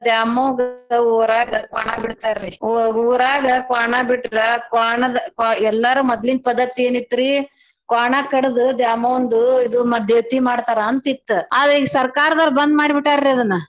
ದ್ಯಾಮವ್ಗ ಊರಾಗ ಕ್ವಾಣಾ ಬಿಡ್ತಾರಿ. ಊರಾಗ ಕ್ವಾಣಾ ಬಿಟ್ರ್ ಕ್ವಾಣಾದ್ ಕ್ವ~ ಎಲ್ಲಾರೂ ಮದ್ಲಿನ್ ಪದ್ದತಿ ಏನ್ ಇತ್ತರಿ? ಕ್ವಾಣಾ ಕಡ್ದ ದ್ಯಾಮವ್ವಂದು ಇದು ಮ~ ದೇವ್ತೀ ಮಾಡ್ತರಾ ಅಂತಿತ್ತ ಅದ ಸರ್ಕಾರದರ್ ಬಂದ್ ಮಾಡ್ಬಿಟ್ಟಾರೀ ಅದ್ನ.